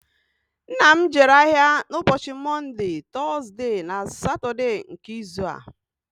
Nna m jere ahìa n'ụbọchi Mọnde, Tọzde na Satọde nke izu a